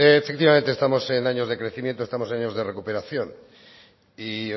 efectivamente estamos en años de crecimiento estamos en años de recuperación y